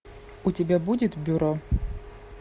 у тебя будет бюро